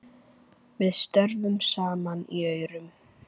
Við störfum saman í Aurum.